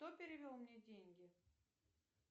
кто перевел мне деньги